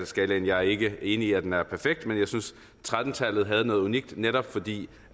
skalaen jeg er ikke enig i at den er perfekt men jeg synes tretten tallet havde noget unikt netop fordi